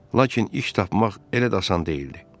Lakin iş tapmaq elə də asan deyildi.